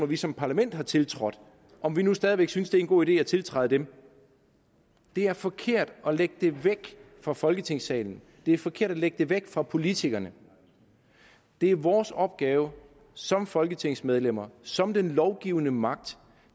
vi som parlament har tiltrådt og om vi nu stadig væk synes det er en god idé at tiltræde dem det er forkert at lægge det væk fra folketingssalen det er forkert at lægge det væk fra politikerne det er vores opgave som folketingsmedlemmer som den lovgivende magt